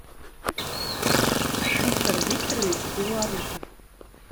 виктор викторович белорусов